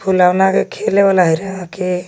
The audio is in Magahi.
फुलवना के खेले वाला के.